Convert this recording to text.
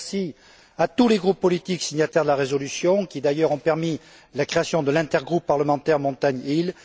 Merci à tous les groupes politiques signataires de la résolution, qui ont d'ailleurs permis la création de l'intergroupe parlementaire montagnes îles.